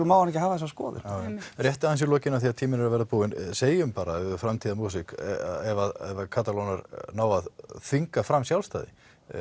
má hann ekki hafa þessa skoðun einmitt rétt í lokin segjum bara að ef Katalónar ná að þvinga fram sjálfstæði